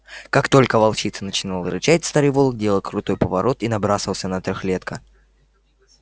как только волчица начинала рычать старый волк делал крутой поворот и набрасывался на трёхлетка